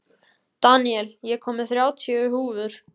Daníel, ég kom með þrjátíu húfur!